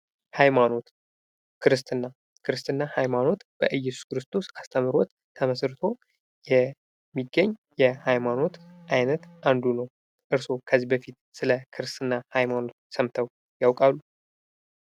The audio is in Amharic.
ሃይማኖት፦ ክርስትና፦ ክርስትና ሃይማኖት በኢየሱስ ክርስቶስ አስተምህሮት ተመስርቶ የሚገኝ የሃይማኖት አይነት አንዱ ነው። እርስዎ ከዚህ በፊት ስለ ክርስትና ሃይማኖት ሰምተው ያውቃሉ?